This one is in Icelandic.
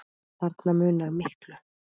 Þarna munar miklu.